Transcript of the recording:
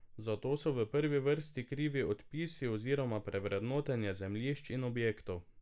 Za to so v prvi vrsti krivi odpisi oziroma prevrednotenja zemljišč in objektov.